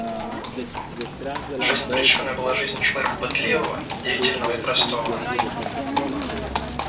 жизнь пришвина была жизнью человека пытливого деятельного и простого